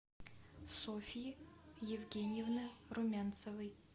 софьи евгеньевны румянцевой